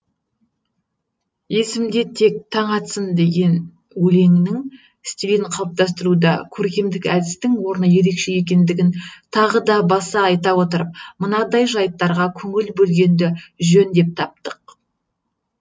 есімде тек таң атсын өлеңінің стилін қалыптастыруда көркемдік әдістің орны ерекше екендігін тағы да баса айта отырып мынадай жайттарға көңіл бөлгенді жөн деп таптық